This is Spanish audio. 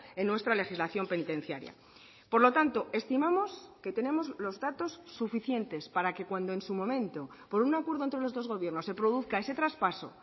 en nuestra legislación penitenciaria por lo tanto estimamos que tenemos los datos suficientes para que cuando en su momento por un acuerdo entre los dos gobiernos se produzca ese traspaso